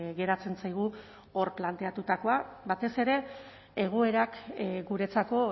geratzen zaigu hor planteatutakoa batez ere egoerak guretzako